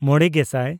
ᱢᱚᱬᱮᱼᱜᱮᱥᱟᱭ